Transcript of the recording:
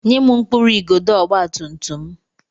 Nye m mkpụrụ igodo ọgbatumtum m!